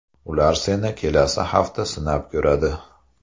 Ular seni kelasi hafta sinab ko‘radi.